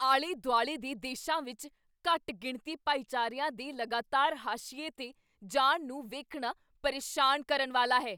ਆਲੇ ਦੁਆਲੇ ਦੇ ਦੇਸ਼ਾਂ ਵਿੱਚ ਘੱਟ ਗਿਣਤੀ ਭਾਈਚਾਰਿਆਂ ਦੇ ਲਗਾਤਾਰ ਹਾਸ਼ੀਏ 'ਤੇ ਜਾਣ ਨੂੰ ਵੇਖਣਾ ਪਰੇਸ਼ਾਨ ਕਰਨ ਵਾਲਾ ਹੈ।